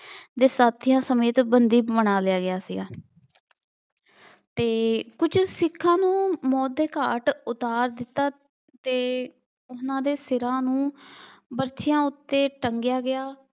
ਦੇ ਸਾਥੀਆਂ ਸਮੇਤ ਬੰਦੀ ਬਣਾ ਲਿਆ ਗਿਆ ਸੀਗਾ ਅਤੇ ਕੁੱਝ ਸਿੱਖਾਂ ਨੂੰ ਮੌਤ ਦੇ ਘਾਟ ਉਤਾਰ ਦਿੱਤਾ ਅਤੇ ਉਹਨਾ ਦੇ ਸਿਰਾਂ ਨੂੰ ਬਰਛਿਆਂ ਉੱਤੇ ਟੰਗਿਆਂ ਗਿਆ।